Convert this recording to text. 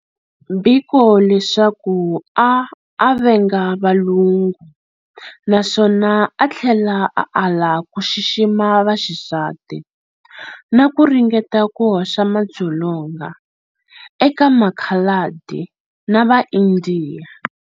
Biko leswaku a a venga valungu naswona a thlela a ala ku xixima vaxisati, naku ringeta ku hoxa madzolonga eka makhaladi na va indiya.